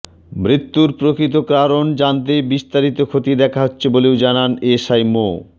মৃত্যুর প্রকৃত কারণ জানতে বিস্তারিত খতিয়ে দেখা হচ্ছে বলেও জানান এসআই মো